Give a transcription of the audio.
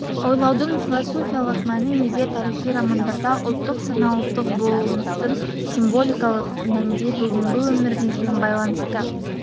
ойлаудың философиялық мәні неде тарихи романдарда ұлттық сана ұлттық болмыстың символикалық мәнде бүгінгі өмірімізбен байланысты